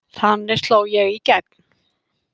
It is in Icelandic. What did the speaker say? Þannig sló ég í gegn.